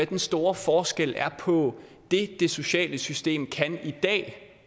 den store forskel på det det sociale system kan i dag